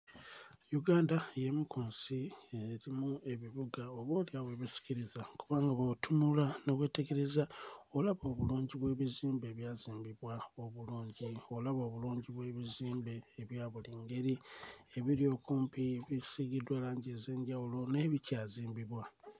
Uganda y'emu ku nsi erimu ebibuga oboolyawo ebisikiriza kubanga bw'otunula ne weetegereza obala obulungi bw'ebizimbe ebyazimbibwa obulungi olaba obulungi bw'ebizimbe ebya buli ngeri ebiri okumpi ebisiigiddwa langi ez'enjawulo naye bikyazimbibwa.